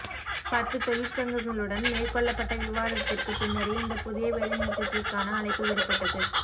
பத்து தொழிற்சங்கங்களுடன் மேற்கொள்ளப்பட்ட விவாதத்திற்கு பின்னரே இந்த புதிய வேலைநிறுத்தத்திற்கான அழைப்பு விடப்பட்டது